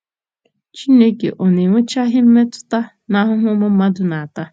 Chineke ọ̀ na-enwechaghị mmetụta n'ahụhụ ụmụ mmadụ na-ata?